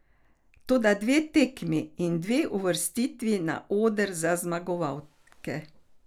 Toda dve tekmi in dve uvrstitvi na oder za zmagovalke ...